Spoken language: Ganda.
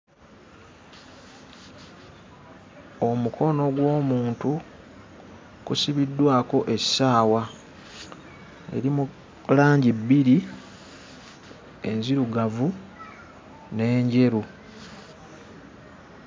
Omukono gw'omuntu kusibiddwako essaawa eri mu langi bbiri enzirugavu n'enjeru.